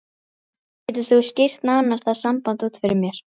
Getur þú skýrt nánar það samband út fyrir mér?